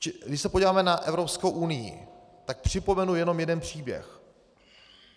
Když se podíváme na Evropskou unii, tak připomenu jenom jeden příběh.